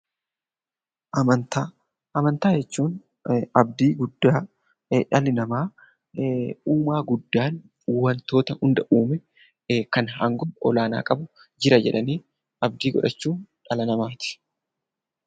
Amantaa. Amantaa jechuun abdii guddaa dhalli namaa uumaa guddatan wantoota hunda uume kan aangoo olaanaa qabu jira jedhanii abdii godhachuun kan amananiidha.